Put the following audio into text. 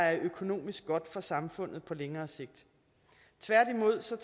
er økonomisk godt for samfundet på længere sigt tværtimod tager